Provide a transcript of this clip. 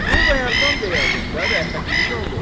Bunu bayaqdan deyəydin də rəhmətliyin oğlu.